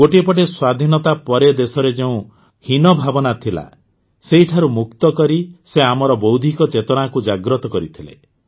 ଗୋଟିଏ ପଟେ ସ୍ୱାଧୀନତା ପରେ ଦେଶରେ ଯେଉଁ ହୀନଭାବନା ଥିଲା ସେହିଠାରୁ ମୁକ୍ତ କରି ସେ ଆମର ବୌଦ୍ଧିକ ଚେତନାକୁ ଜାଗ୍ରତ କରିଥିଲେ